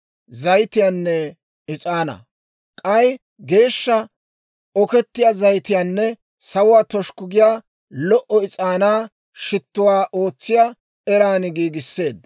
K'ay geeshsha okettiyaa zayitiyaanne sawuwaa toshikku giyaa lo"o is'aanaa shittuwaa ootsiyaa eran giigisseedda.